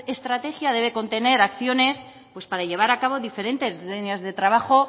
estrategia debe contener acciones pues para llevar a cabo diferentes líneas de trabajo